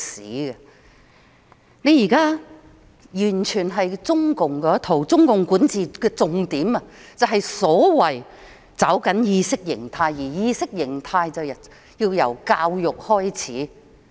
政府現在完全奉行中共那一套，而中共管治的重點便是所謂的"抓緊意識形態"，而意識形態便要由教育開始。